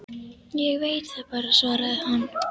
Ég veit það bara, svaraði hann.